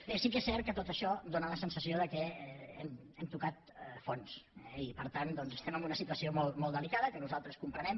bé sí que és cert que amb tot això dóna la sensació que hem tocat fons eh i per tant doncs estem en una situació molt delicada que nosaltres comprenem